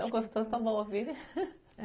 Tão gostoso, tão bom ouvir